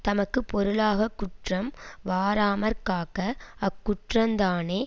தமக்கு பொருளாக குற்றம் வாராமற்காக்க அக்குற்றந்தானே